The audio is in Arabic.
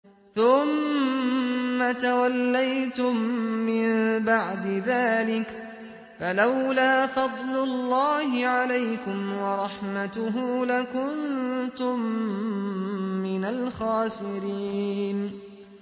ثُمَّ تَوَلَّيْتُم مِّن بَعْدِ ذَٰلِكَ ۖ فَلَوْلَا فَضْلُ اللَّهِ عَلَيْكُمْ وَرَحْمَتُهُ لَكُنتُم مِّنَ الْخَاسِرِينَ